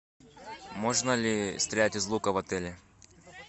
можно ли стрелять из лука в отеле